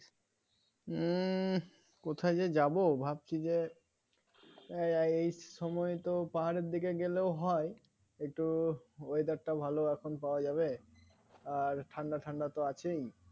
উম কোথায় যে যাব ভাবছি যে এই সময়ে পাহাড়ের দিকে গেলেও হয় একটু Weather টা ভালো এখন পাওয়া যাবে আর ঠান্ডা ঠান্ডা তো আছেই